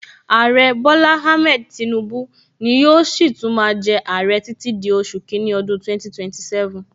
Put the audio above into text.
Aare Bola Ahmed Tinubu ni yóò si tún máa jẹ aare títí di oṣù kini ọdún 2027